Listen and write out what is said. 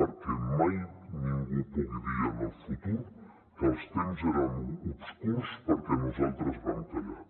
perquè mai ningú pugui dir en el futur que els temps eren obscurs perquè nosaltres vam callar